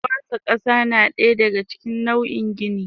Kwasa kasa nadaya daga cikin nau in gini.